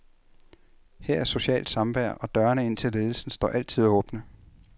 Her er socialt samvær, og dørene ind til ledelsen står altid åbne.